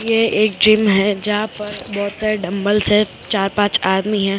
यह एक जिम है जहां पर बहुत सारे डमबल्स हैं चार पाँच आदमी हैं पअप--